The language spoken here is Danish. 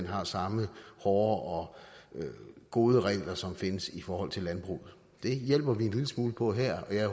har samme hårde og gode regler som findes i forhold til landbruget det hjælper vi en lille smule på her